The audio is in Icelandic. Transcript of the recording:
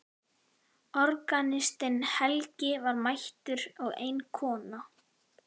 Organistinn Helgi var mættur og ein kona.